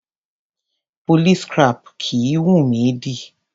Police cap kìí wùnmí dì.